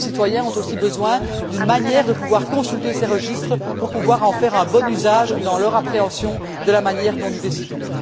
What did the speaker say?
Les citoyens ont aussi besoin d'une manière de pouvoir consulter ces registres pour pouvoir en faire un bon usage dans leur appréhension de la manière dont nous décidons.